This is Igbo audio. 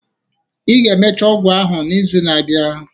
Ị ga-emecha ọgwụ ahụ n'izu na-abịa